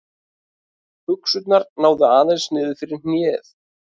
Buxurnar náðu aðeins niður fyrir hnéð.